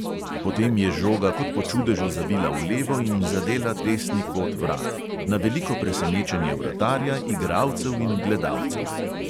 Potem je žoga kot po čudežu zavila v levo in zadela desni kot vrat, na veliko presenečenje vratarja, igralcev in gledalcev.